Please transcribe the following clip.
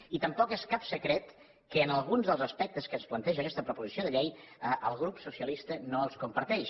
i tampoc no és cap secret que alguns dels aspectes que ens planteja aquesta proposició de llei el grup socialista no els comparteix